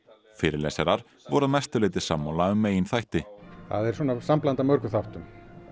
fyrirlesarar voru að mestu leyti sammála um meginþætti það er sambland af mörgum þáttum